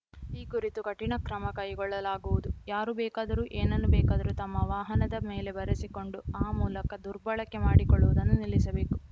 ಈ ಕುರಿತು ಕಠಿಣ ಕ್ರಮ ಕೈಗೊಳ್ಳಲಾಗುವುದು ಯಾರು ಬೇಕಾದರೂ ಏನನ್ನು ಬೇಕಾದರೂ ತಮ್ಮ ವಾಹನದ ಮೇಲೆ ಬರೆಸಿಕೊಂಡು ಆ ಮೂಲಕ ದುರ್ಬಳಕೆ ಮಾಡಿಕೊಳ್ಳುವುದನ್ನು ನಿಲ್ಲಿಸಬೇಕು